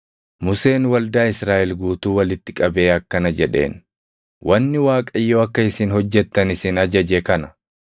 Museen waldaa Israaʼel guutuu walitti qabee akkana jedheen; “Wanni Waaqayyo akka isin hojjettan isin ajaje kana: